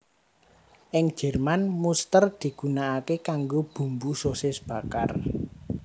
Ing Jerman muster digunakake kanggo bumbu sosis bakar